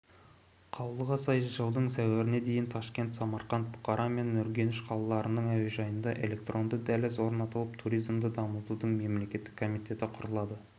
қаулыға сай жылдың сәуіріне дейін ташкент самарқанд бұқара мен үргеніш қалаларының әуежайында электронды дәліз орнатылып туризмді дамытудың мемлекеттік комитеті құрылады